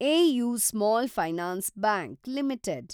AU small finance bank limited